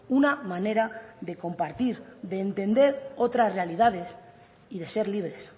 una manera de compartir de entender otras realidades y de ser libres